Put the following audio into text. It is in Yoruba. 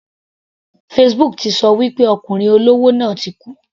Facebook ti ṣọ wí pé arákùnrin olówó náà ti kú.